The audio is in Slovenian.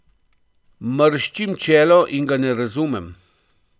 Mrščim čelo in ga ne razumem.